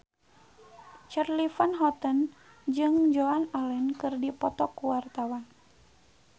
Charly Van Houten jeung Joan Allen keur dipoto ku wartawan